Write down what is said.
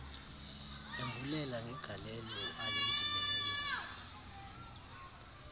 embulela ngegalelo alenzileyo